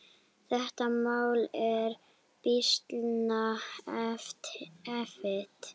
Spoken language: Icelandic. Þetta mál er býsna erfitt.